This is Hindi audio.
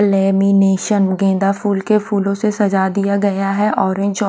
लमीनेसोंन गेंदा फूल के फूलो से सजा दिया गया है ऑरेंज अ--